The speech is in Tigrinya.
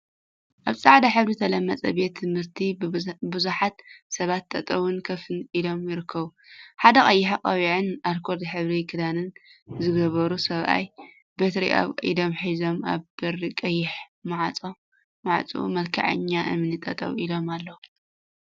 ኣብ ጻዕዳ ሕብሪ ዝተለመጸ ቤት ትምህርቲ ቡዙሓት ሰባት ጠጠውን ኮፍን ኢሎም ይርከቡ። ሓደ ቀይሕ ቆቢዕን ኣልኮል ሕብሪ ክዳንን ዝገብሩ ሰብኣይ በትሪ ኣብ ኢዶም ሒዞም ኣብ በሪ ቀይሕ ማዕጽኡ መልክዐኛ እምኒ ጠጠው ኢሎም ኣለው።